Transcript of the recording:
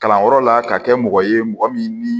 Kalanyɔrɔ la ka kɛ mɔgɔ ye mɔgɔ min ni